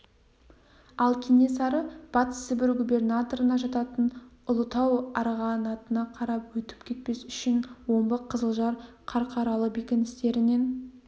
ал кенесары батыс сібір губернаторына жататын ұлытау арғынатыға қарап өтіп кетпес үшін омбы қызылжар қарқаралы бекіністерінен